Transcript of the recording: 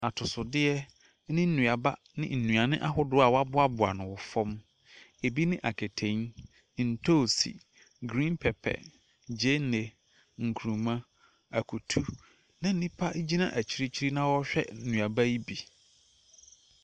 Atɔsodeɛ ne nnuaba ne nnuane ahodoɔ a wɔaboaboa no wɔ fam, bi ne aketen, ntoosi, green pepper, gyeene, nkruma, akutu, na nipa gyina akyirikyiri na ɔrehwɛ nuaba yi bi.